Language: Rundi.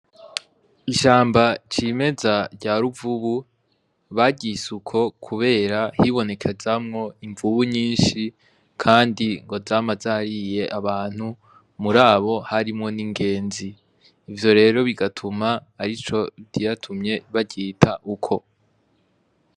Ishamba c'imeza rya ruvubu baryise uko kubera hibonekezamwo imvubu nyinshi, kandi ngo zama zariye abantu muri abo harimwo n'ingenzi ivyo rero bigatuma arico catumye baryita uko.